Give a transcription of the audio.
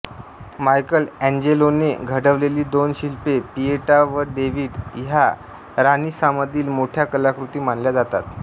Michael एन्जेलोने घडवलेली दोन शिल्पे पिएटा व डेव्हिड ह्या रानिसांमधील मोठ्या कलाकृती मानल्या जातात